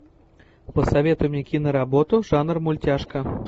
посоветуй мне киноработу жанр мультяшка